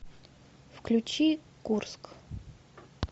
включи курск